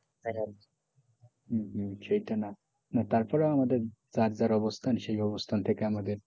হম হম সেটা না তারপরেও আমাদে যার দ্বারা অবস্থান সেই অবস্থান থেকে আমাদের,